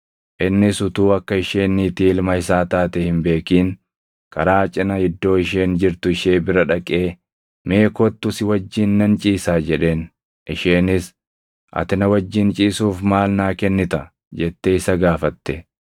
Innis utuu akka isheen niitii ilma isaa taate hin beekin karaa cina iddoo isheen jirtu ishee bira dhaqee, “Mee kottu si wajjin nan ciisaa” jedheen. Isheenis, “Ati na wajjin ciisuuf maal naa kennita?” jettee isa gaafatte.